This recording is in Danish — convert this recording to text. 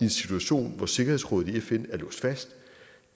en situation hvor sikkerhedsrådet i fn er låst fast